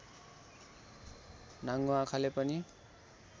नाङ्गो आँखाले पनि